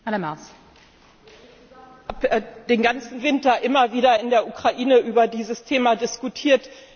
Es wurde ja den ganzen Winter immer wieder in der Ukraine über dieses Thema diskutiert.